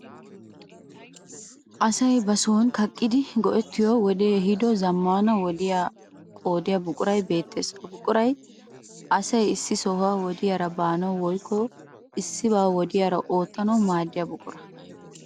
Asay ba son kaqqidi go'ettiyo wodee ehiido zaammaana wodiya qoodiyo buquray beettees. Ha buquray asayi issi sohuwa wodiyaara baanawu woykko issibaa wodiyaara oottanawu maaddiya buqura.